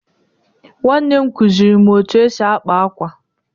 Nwanne m nwaanyị kụziiri m otú e si akpa ákwà